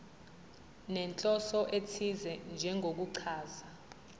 nenhloso ethize njengokuchaza